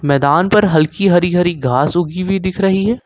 मैदान पर हल्की हरि-हरि घास उगी हुई दिख रही है।